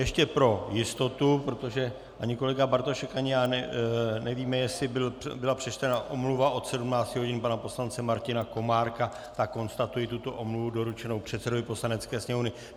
Ještě pro jistotu, protože ani kolega Bartošek ani já nevíme, jestli byla přečtena omluva od 17 hodin pana poslance Martina Komárka, tak konstatuji tuto omluvu doručenou předsedovi Poslanecké sněmovny.